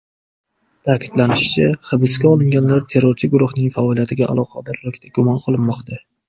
Ta’kidlanishicha, hibsga olinganlar terrorchi guruhning faoliyatiga aloqadorlikda gumon qilinmoqda.